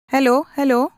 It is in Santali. hello hello